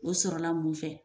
O sɔrɔla mun fɛ